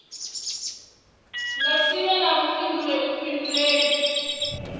nga si vhe na vhuḓifhinduleli